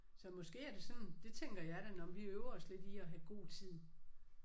Så måske er det sådan det tænker jeg da nåh men vi øver os lidt i at have god tid